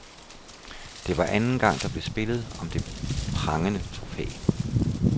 Det var anden gang, der blev spillet om det prangende trofæ.